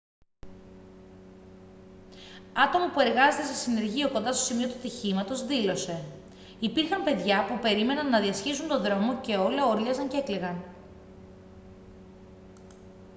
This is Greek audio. άτομο που εργάζεται σε συνεργείο κοντά στο σημείο του ατυχήματος δήλωσε: «υπήρχαν παιδιά που περίμεναν να διασχίσουν τον δρόμο και όλα ούρλιαζαν και έκλαιγαν